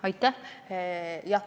Aitäh!